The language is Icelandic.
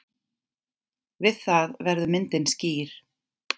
Við það verður myndin skýr.